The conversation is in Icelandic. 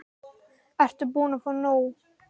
Ert þú búin að fá nóg?